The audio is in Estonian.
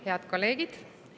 Head kolleegid!